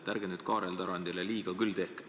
Ärge nüüd Kaarel Tarandile küll liiga tehke!